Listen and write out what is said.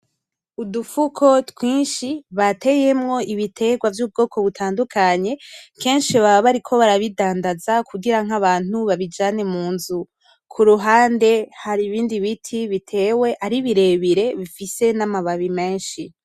Udufuko twinshi bateyemwo ibiterwa vy'ubwoko butandukanye kenshi baba bariko barabudandaza kugira nk'abantu babijane munzu ku ruhande hari ibindi biti bitewe ari birebire bifise n'amababi menshi.